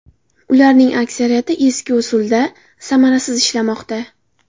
Ularning aksariyati eski usulda, samarasiz ishlamoqda.